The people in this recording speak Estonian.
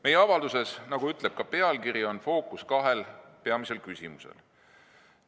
Meie avalduses, nagu ütleb ka pealkiri, on fookus kahel peamisel küsimusel.